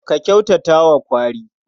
Ka kyautata wa kwari.